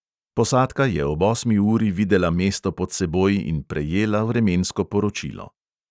Posadka je ob osmi uri videla mesto pod seboj in prejela vremensko poročilo.